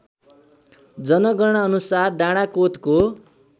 जनगणना अनुसार डाडाकोतको